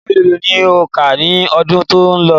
Ìwé mélòó ni o kà ní ọdún tí ó lọ?